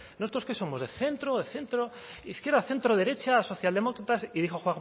nosotros qué somos de centro de centro izquierda centro derecha social demócratas y dijo